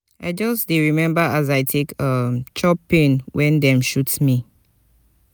i just dey rememba as i take um chop pain wen dem shoot me.